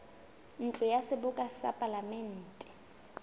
ntlo ya seboka ya palamente